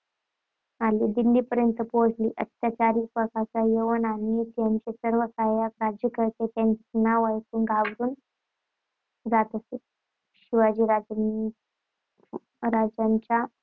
आणि दिल्लीपर्यंत पोहोचली. अत्याचारी प्रकारचा यवन आणि त्याचे सर्व सहाय्यक राज्यकर्ते त्यांचे नाव ऐकून घाबरून जात असे. शिवाजीराजेंनी वाढत्या